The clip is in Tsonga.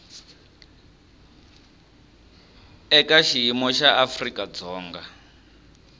eka xiyimo xa afrika dzonga